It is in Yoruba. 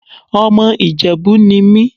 Ọmọ Ìjẹ̀bú ni mí.